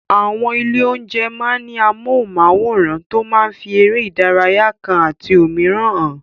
Àwọn ilé-oúnjẹ máa ń ní amóhùnmáwòràn tó máa ń fi eré ìdárayá kan àti òmíràn hàn.